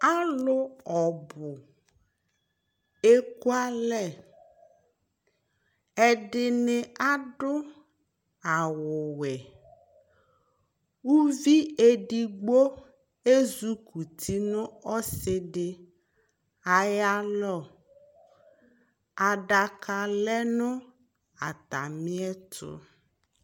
alò ɔbu eku alɛ ɛdini adu awu wɛ uvi edigbo ezi kuti n'ɔsi di ayi alɔ adaka lɛ no atami ɛto